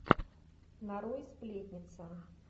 нарой сплетница